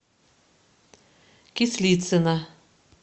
кислицына